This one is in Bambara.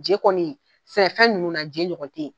Je kɔni sɛnɛfɛn ninnu na ,je ɲɔgɔn tɛ yen!